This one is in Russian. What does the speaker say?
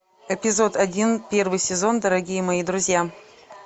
эпизод один первый сезон дорогие мои друзья